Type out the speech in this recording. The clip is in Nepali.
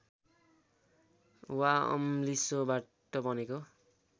वा अम्लिसोबाट बनेको